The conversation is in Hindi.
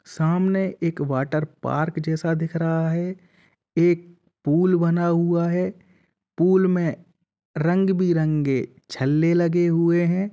सामने एक वाटर पार्क जैसा दिख रहा है। एक पूल बना हुआ है पूल में रंग-बिरंगे छले लगे हुए हैं।